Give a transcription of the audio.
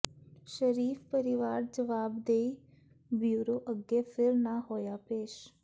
ਸ਼ਰੀਫ਼ ਪਰਿਵਾਰ ਜਵਾਬਦੇਹੀ ਬਿਊਰੋ ਅੱਗੇ ਫਿਰ ਨਾ ਹੋਇਆ ਪੇਸ਼